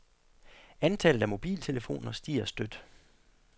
Antallet af mobiltelefoner stiger støt.